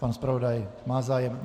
Pan zpravodaj má zájem.